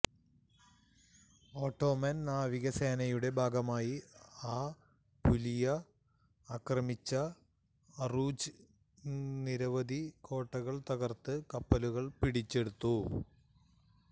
Ottoman നാവിക സേനയുടെ ഭാഗമായി അപുലിയ ആക്രമിച്ച അറൂജ് നിരവധി കോട്ടകൾ തകർത്ത് കപ്പലുകൾ പിടിച്ചെടുത്തു